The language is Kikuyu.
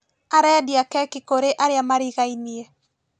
Arendia keki kũrĩ arĩa marigainie